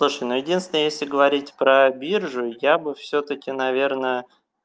слушай ну единственное если говорить про биржу я бы всё-таки наверное